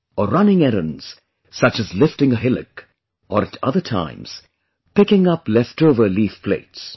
Or running errands such as lifting a hillock, or at other times picking up leftover leaf plates